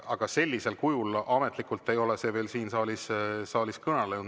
Aga ametlikult ei ole see veel siin saalis kõlanud.